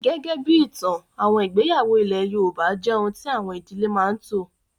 Gẹ́gẹ́ bí ìtàn, àwọn ìgbéyàwó ilé yoòbá jẹ́ ohun tí àwọn ìdílé máa n tò